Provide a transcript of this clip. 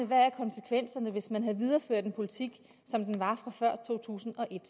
hvad konsekvenserne var hvis man havde videreført en politik som den var fra før to tusind og et